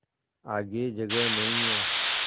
आगे जगह नहीं हैं